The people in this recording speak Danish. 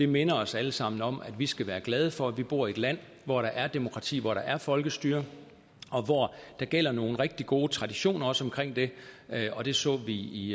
minder os alle sammen om at vi skal være glade for at vi bor i et land hvor der er demokrati hvor der er folkestyre og hvor der gælder nogle rigtig gode traditioner også omkring det og det så vi i